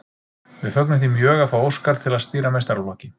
Við fögnum því mjög að fá Óskar til að stýra meistaraflokki.